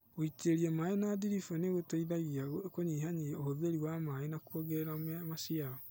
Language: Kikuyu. Gũitĩrĩria maaĩ na ndiribu ni gũteithagia kũnyihia ũhũthĩri wa maaĩ na kũongerera maciaro